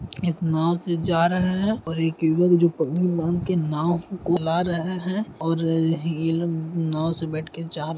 इस नांव से जा रहे है और एक जो पगड़ी बांधकर नांव को चला रहे है और अ ये लोग नाव से बैठ के जा --